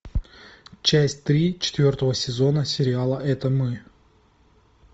часть три четвертого сезона сериала это мы